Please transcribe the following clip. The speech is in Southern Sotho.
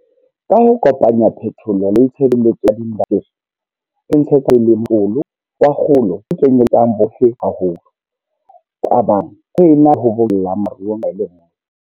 Ka ho kopanya phetolo le tshebetso ya diindasteri, re ntshetsa pele motlolo wa kgolo o kenyeletsang bohle haholo, o abang, ho ena le o bokellang maruo nqa e le nngwe.